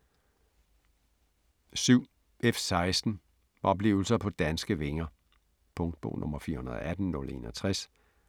7. F-16 - oplevelser på danske vinger Punktbog 418061